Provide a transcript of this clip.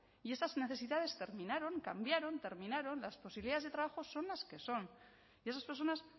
y esas necesidades terminaron cambiaron terminaron las posibilidades de trabajo son las que son y esas personas